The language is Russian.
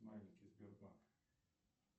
маленький сбербанк